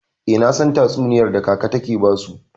Eh, nasan tatsuniyar da kaka take basu.